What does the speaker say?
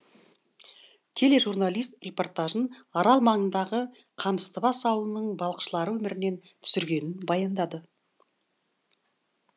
тележурналист репортажын арал маңындағы қамыстыбас ауылының балықшылары өмірінен түсіргенін баяндады